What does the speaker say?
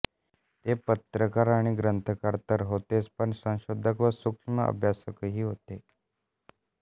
ते पत्रकार आणि ग्रंथकार तर होतेच पण संशोधक व सूक्ष्म अभ्यासकही होते